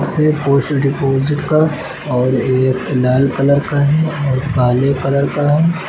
से post deposit का और एक लाल कलर का है और काले कलर का है।